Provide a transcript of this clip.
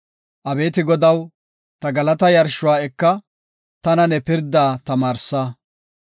Abeeti Godaw, ta galataa yarshuwa eka; tana ne pirdaa tamaarsa.